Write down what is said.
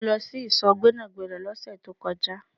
Mó lọ sí ìsò Gbẹ́nàgbẹ́nà lóse tí ó kọjá